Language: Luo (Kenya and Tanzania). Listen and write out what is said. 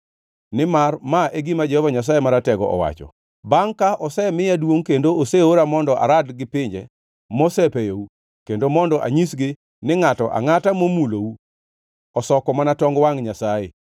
Nimar ma e gima Jehova Nyasaye Maratego owacho, “Bangʼ ka osemiya duongʼ kendo oseora mondo arad gi pinje mosepeyou, kendo mondo anyisgi ni ngʼato angʼata momulou osoko mana tong wangʼ Nyasaye,